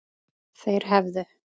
Þeir hefðu